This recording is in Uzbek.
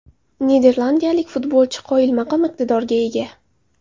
Niderlandiyalik futbolchi qoyilmaqom iqtidorga ega.